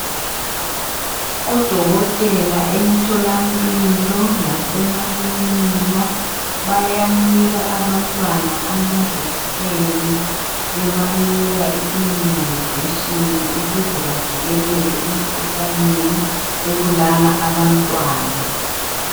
Odokotela emtholampilo lasemakilinika bayanika abantwana amajekiseni .Bebanika i immunisation ukuze bavikeleke emkhuhlaneni ebulala abantwana .